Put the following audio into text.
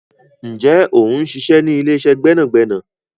Ǹjẹ́ o ń ṣiṣẹ́ ní ilé-iṣẹ́ gbẹ́nàgbẹ́nà?